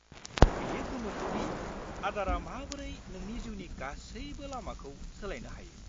-बेयो गोमोथाव दि आदारा माबोरै नोंनि जिउनि गासैबो लामाखौ सोलायनो हायो।